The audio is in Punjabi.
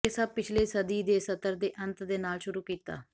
ਇਹ ਸਭ ਪਿਛਲੇ ਸਦੀ ਦੇ ਸੱਤਰ ਦੇ ਅੰਤ ਦੇ ਨਾਲ ਸ਼ੁਰੂ ਕੀਤਾ